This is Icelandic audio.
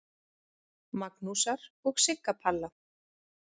Magnúsar og Sigga Palla.